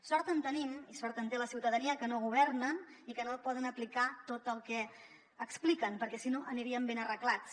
sort en tenim i sort en té la ciutadania que no governen i que no poden aplicar tot el que expliquen perquè si no aniríem ben arreglats